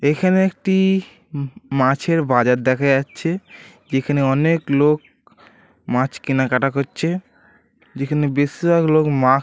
এখানে একটি-ই ম মাছের বাজার দেখা যাচ্ছে যেখানে অনেক লোক মাছ কেনাকাটা করছে যেখানে বেশিরভাগ লোক মা --